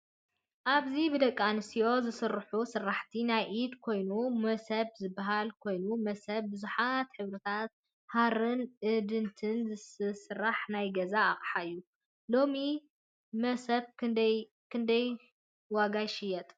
ኣብዚ ብደቂ-ኣነስትዮ ዝስርሑ ስራሕቲ ናይ ኢድ ኮይኑ መሰብ ዝበሃልኮይኑ መሰብ ብዙሓት ሕብሪታት ሓሪን እድኒን ዝተሰረሐ ናይ ገዛ ኣቅሓ እዩ:: ሎሚ መሰብ ክሳብ ክንዳይ ዋጋ ይሽየጥ ?